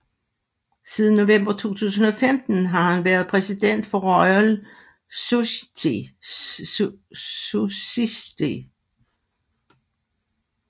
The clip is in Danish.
Siden november 2015 har han været præsident for Royal Society